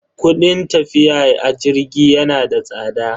Kudin tafiya a jirgi yana da tsada.